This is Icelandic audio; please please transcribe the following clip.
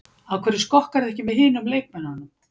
Af hverju skokkarðu ekki með hinum leikmönnunum?